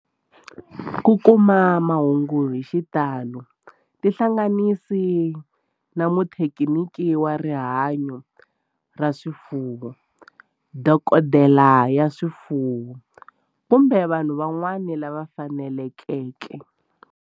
Ku kuma mahungu hi xitalo tihlanganisi na muthekiniki wa rihanyo ra swifuwo, dokodela ya swifuwo, kumbe vanhu van'wana lava fanelekeke.